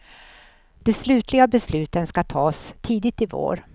De slutliga besluten skall tas tidigt i vår.